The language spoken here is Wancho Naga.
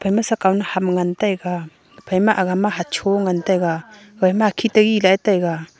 ema sa kaw na ham ngan taiga ephai ma hocho ngan taiga ephai ma hakhit ngan taiga.